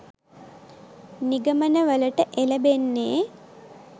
නිගමනවලට එළැඹෙන්නේ.